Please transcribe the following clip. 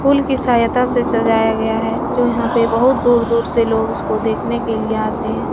फूल की सहायता से सजाया गया है जो यहाँ पे बहुत दूर दूर से लोग इसको देखने के लिए आते हैं।